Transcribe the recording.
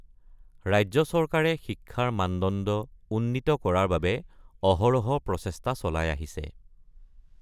ৰাজ্য চৰকাৰে শিক্ষাৰ মানদণ্ড উন্নীত কৰাৰ বাবে অহৰহ প্ৰচেষ্টা চলাই আহিছে।